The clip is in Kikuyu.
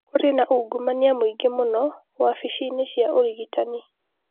Kũrĩ na ungumania mũingĩ mũno wabici-inĩ cia ũrigitani